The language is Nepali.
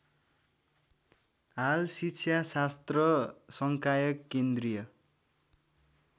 हाल शिक्षाशास्त्र संकाय केन्द्रीय